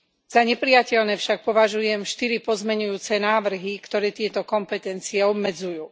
Za neprijateľné však považujem štyri pozmeňujúce návrhy, ktoré tieto kompetencie obmedzujú.